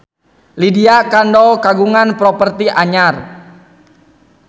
Lydia Kandou kagungan properti anyar